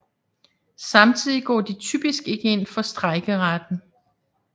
Samtidig går de typisk ikke ind for strejkeretten